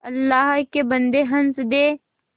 अल्लाह के बन्दे हंस दे